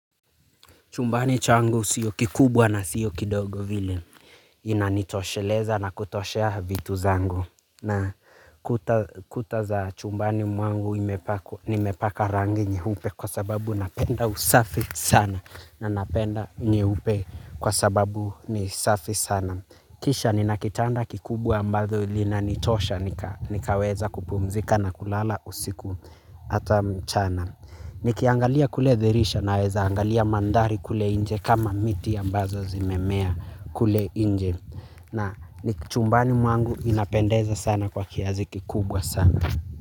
Chumbani changu siyo kikubwa na siyo kidogo vile. Inanitosheleza na kutoshea vitu zangu. Na kuta za chumbani mwangu nimepaka rangi nyeupe kwa sababu napenda usafi sana. Na napenda nyeupe kwa sababu ni safi sana. Kisha nina kitanda kikubwa ambadho linanitosha nikaweza kupumzika na kulala usiku hata mchana. Nikiangalia kule dirisha naweza angalia mandhari kule njje kama miti ambazo zimemea kule nje. Na ni chumbani mwangu inapendeza sana kwa kazi ki kubwa sana.